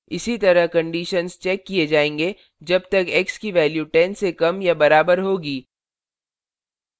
इसी तरह conditions checked किए जाएंगे जब तक x की value 10 से कम या बराबर होगी